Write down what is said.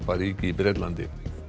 ríki í Bretlandi